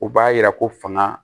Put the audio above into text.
U b'a yira ko fanga